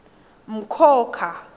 mkhokha